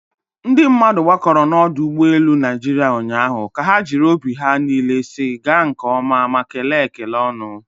ndị mmadụ gbakọrọ na ọdụ ụgbọ elu Naịjirịa ụnyahụ ka ha jiri obi ha niile si gaa nke oma ma kelee ekele ọñụ